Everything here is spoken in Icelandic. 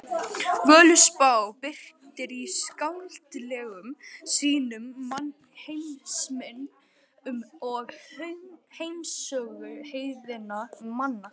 Völuspá birtir í skáldlegum sýnum heimsmynd og heimssögu heiðinna manna.